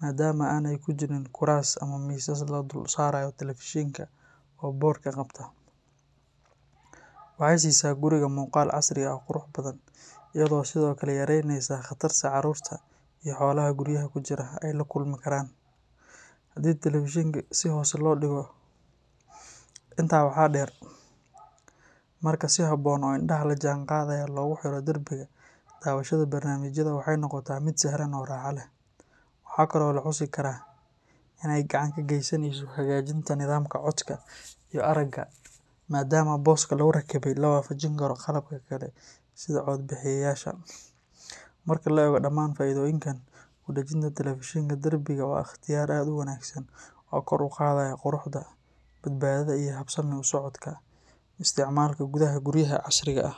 maadaama aanay jirin kuraas ama miisas lagu dul saarayo telefishenka oo boodhka qabta. Waxay siisaa guriga muuqaal casri ah oo qurux badan, iyadoo sidoo kale yareynaysa khatarta carruurta iyo xoolaha guryaha ku jira ay la kulmi karaan haddii telefishenka si hoose loo dhigo. Intaa waxaa dheer, marka si habboon oo indhaha la jaanqaadaya loogu xiro darbiga, daawashada barnaamijyada waxay noqotaa mid sahlan oo raaxo leh. Waxa kale oo la xusi karaa in ay gacan ka geysanayso hagaajinta nidaamka codka iyo aragga maadaama booska lagu rakibay la waafajin karo qalabka kale sida codbaahiyeyaasha. Marka la eego dhammaan faa’iidooyinkan, kudajinta telefishenka darbiga waa ikhtiyaar aad u wanaagsan oo kor u qaadaya quruxda, badbaadada iyo habsami u socodka isticmaalka gudaha guryaha casriga ah.